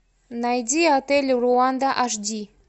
найди отель руанда аш ди